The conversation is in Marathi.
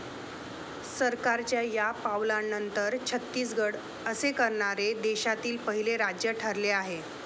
सरकारच्या या पावलानंतर, छत्तीसगड असे करणारे देशातील पहिले राज्य ठरले आहे.